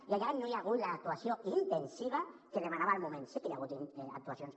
i allà no hi ha hagut l’actuació intensiva que demanava el moment sí que hi ha hagut actuacions